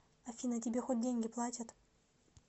афина тебе хоть деньги платят